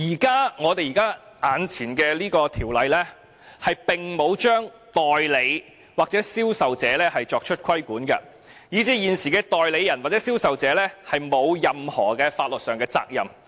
此外，現行的《條例草案》並沒有對代理或銷售者作出規管，以至現時的代理人或銷售者沒有任何法律上的責任。